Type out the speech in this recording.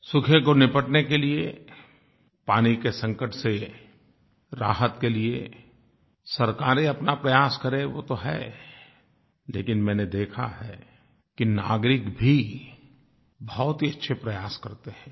सूखे से निपटने के लिए पानी के संकट से राहत के लिए सरकारें अपना प्रयास करें वो तो है लेकिन मैंने देखा है कि नागरिक भी बहुत ही अच्छे प्रयास करते हैं